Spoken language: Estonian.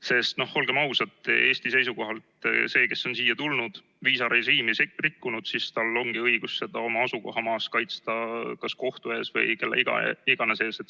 Sest olgem ausad, Eesti seisukohalt see, kes on siia tulnud, viisarežiimi rikkunud, siis tal ongi õigus seda oma asukohamaal kaitsta kas kohtu ees või kelle iganes ees.